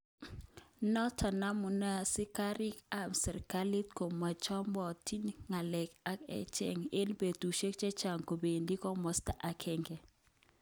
Noton amune asikarik kap serkalit komochobotin konga'lal ak echeg, eng betushek chechang kobendi komosta agenge.